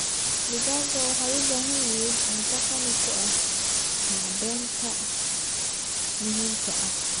Digaagga waxay u baahan yihiin cunto qani ku ah macdanta muhiimka ah.